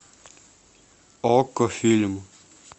окко фильм